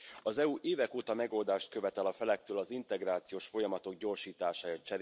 Az EU évek óta megoldást követel a felektől az integrációs folyamatok gyorsítására.